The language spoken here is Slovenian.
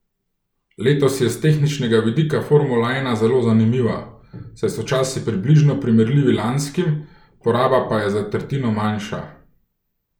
Letos je s tehničnega vidika formula ena zelo zanimiva, saj so časi približno primerljivi lanskim, poraba pa je za tretjino manjša.